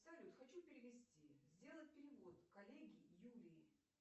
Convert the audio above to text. салют хочу перевести сделать перевод коллеге юлии